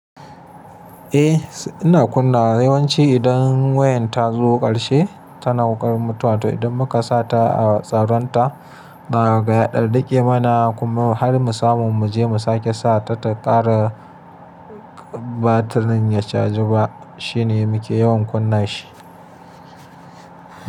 Eh, ina kunna yawanci idan wayan ta zo ƙarshe tana ƙarar mutuwa. To idan muka sa ta a tsaron ta, daga ya ɗan riƙe mana kuma har mu samu mu je mu sake sa ta, ta ƙara ba ta ninya caji ba. Shine muke yawan kunna shi.